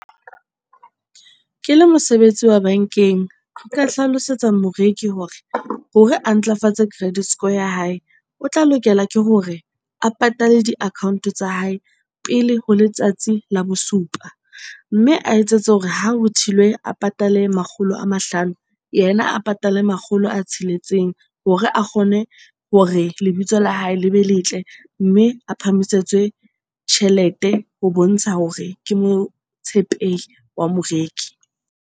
Ke le mosebetsi wa bankeng. Nka hlalosetsa moreki hore hore a ntlafatse credit score ya hae, o tla lokela ke hore a patale di-account-o tsa hae pele ho letsatsi la bosupa. Mme a etsetse hore ha ho thilwe a patale makgolo a mahlano, yena a patale makgolo a tsheletseng hore a kgone hore lebitso la hae le be letle, mme a phahamiswetse tjhelete ho bontsha hore ke motshepehi wa moreki.